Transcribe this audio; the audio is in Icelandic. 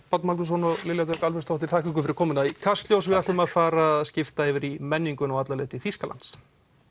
Páll Magnússon og Lilja Dögg þakka ykkur fyrir komuna í Kastljós við ætlum að fara að skipta yfir í menninguna og alla leið til Þýskalands